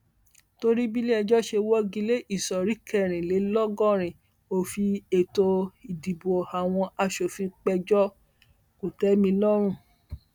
torí bíléẹjọ ṣe wọgi lé ìsọrí kẹrìnlélọgọrin òfin ètò ìdìbò àwọn asòfin péjọ kòtẹmilọrùn